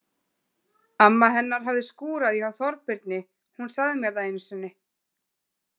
Amma hennar hafði skúrað hjá Þorbirni, hún sagði mér það einu sinni.